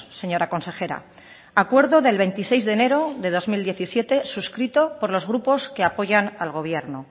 señora consejera acuerdo del veintiséis de enero del dos mil diecisiete suscrito por los grupos que apoyan al gobierno